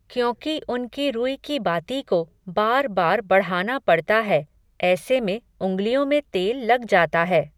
क्योंकि उनकी रुई की बाती को, बार बार बढ़ाना पड़ता है, ऐसे में, उंगलियों में तेल लग जाता है,